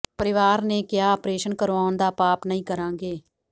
ਪਰਿਵਾਰ ਨੇ ਕਿਹਾ ਆਪਰੇਸ਼ਨ ਕਰਵਾਉਣ ਦਾ ਪਾਪ ਨਹੀਂ ਕਰਾਂਗੇ